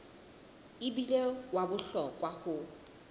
e bile wa bohlokwa ho